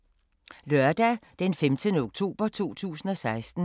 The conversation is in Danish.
Lørdag d. 15. oktober 2016